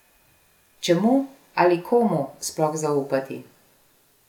Čemu ali komu sploh zaupati?